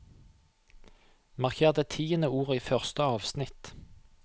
Marker det tiende ordet i første avsnitt